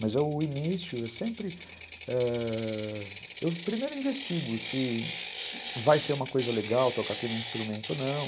Mas o início é sempre...ãh... Primeiro eu investigo se vai ser uma coisa legal tocar aquele instrumento ou não.